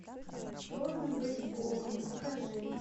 трудно быть богом покажи